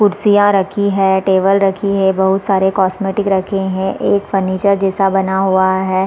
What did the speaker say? कुर्सियां रखी है टेबल रखी है बहुत सारे कॉस्मेटिक रखे है एक फर्नीचर जैसा बना हुआ है।